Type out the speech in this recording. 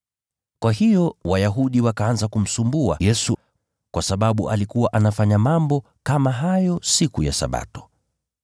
Kwa hiyo Wayahudi wakaanza kumsumbua Yesu, kwa sababu alikuwa anafanya mambo kama hayo siku ya Sabato.